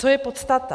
Co je podstata?